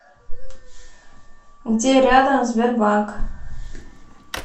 где рядом сбербанк